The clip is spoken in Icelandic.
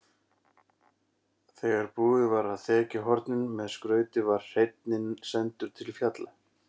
Þegar búið var að þekja hornin með skrauti var hreinninn sendur til fjalla.